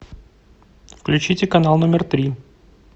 включите канал номер три